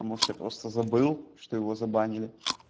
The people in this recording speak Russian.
может я просто забыл что его забанили